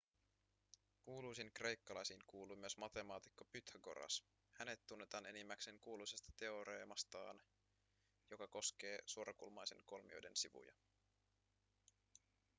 kuuluisiin kreikkalaisiin kuuluu myös matemaatikko pythagoras. hänet tunnetaan enimmäkseen ‎kuuluisasta teoreemastaan joka koskee suorakulmaisen kolmioiden sivuja.‎